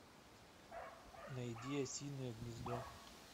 найди осинное гнездо